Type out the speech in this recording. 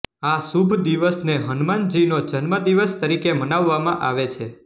આ શુભ દિવસને હનુમાનજીનો જન્મદિવસ તરીકે મનાવવામાં આવે છે